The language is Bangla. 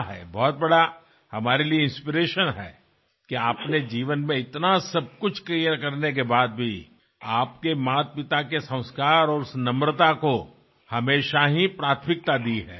আমাদের কাছে এক খুব বড় প্রেরণাস্রোত এক দৃষ্টান্তস্বরূপ যে জীবনে সবকিছু প্রাপ্তির পরেও আপনি আপনার মাতাপিতার সংস্কার এবং নম্রতাকে সর্বাধিক অগ্রাধিকার প্রদান করেছেন